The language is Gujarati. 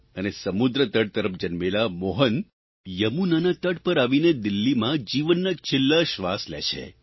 અને સમુદ્રતટ તરફ જન્મેલા મોહન યમુનાના તટ પર આવીને દિલ્હીમાં જીવનના છેલ્લા શ્વાસ લે છે